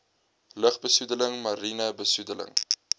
lugbesoedeling mariene besoedeling